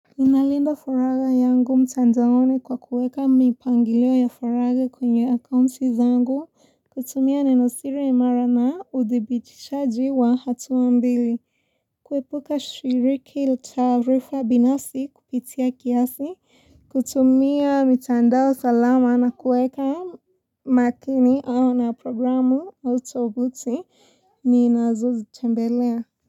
Inalinda faraga yangu mtandaoni kwa kuweka mipangilio ya faraga kwenye akaunti zangu, kutumia nenosiri imara na udhibitishaji wa hatua mbili. Kuepuka shiriki la taarifa binafsi kupitia kiasi, kutumia mitandao salama na kuweka makini au na programu au tovuti ninazo zitembelea.